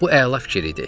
Bu əla fikir idi.